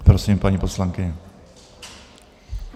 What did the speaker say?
Prosím, paní poslankyně.